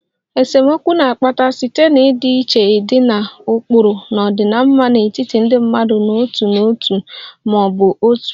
Esemokwu na-akpata site na ọdịiche dị na ụkpụrụ na ọdịmma n'etiti ndị mmadụ n'otu n'otu ma ọ bụ otu